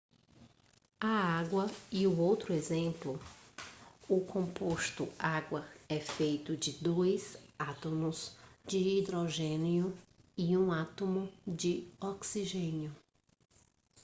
a água é outro exemplo o composto água é feito de dois átomos de hidrogênio e um átomo de oxigênio